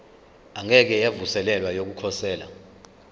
engeke yavuselelwa yokukhosela